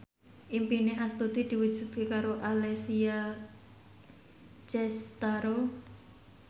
impine Astuti diwujudke karo Alessia Cestaro